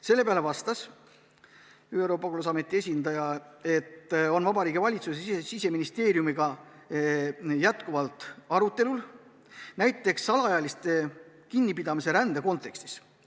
Selle peale vastas ÜRO pagulasameti esindaja, et Vabariigi Valitsuse ja Siseministeeriumiga arutatakse alaealiste kinnipidamist rände kontekstis.